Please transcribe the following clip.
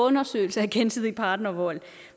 undersøgelser af gensidig partnervold